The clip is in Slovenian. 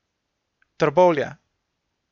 Trbovlje.